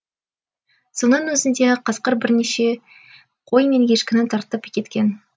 соның өзінде қасқыр бірнеше қой мен ешкіні тартып кеткен